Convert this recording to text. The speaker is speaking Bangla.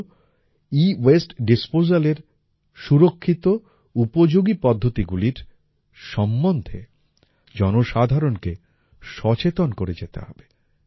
তা হল এওয়াসতে ডিসপোজাল এর সুরক্ষিত উপযোগী পদ্ধতিগুলির সম্বন্ধে জনসাধারণকে সচেতন করে যেতে হবে